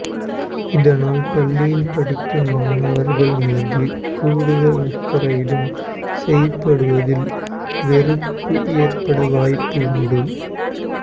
இதனால் பள்ளியில் படிக்கும் மாணவர்கள் மீது கூடுதல் அக்கரையுடன் செய்படுவதில் வெறுப்பு ஏற்பட வாய்ப்பு உண்டு